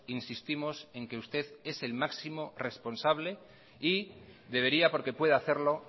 insistimos en que usted es el máximo responsable y debería porque puede hacerlo